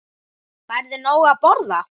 Færðu nóg að borða?